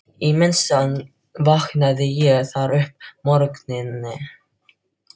Í það minnsta vaknaði ég þar um morguninn.